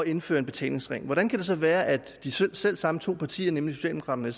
indføre en betalingsring hvordan kan det så være at de selv selv samme to partier nemlig socialdemokraterne